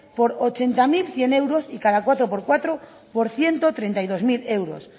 por ochenta mil cien euros y cada cuatro por cuatro por ciento treinta y dos mil euros